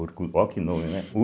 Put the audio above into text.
Olha que nome, né?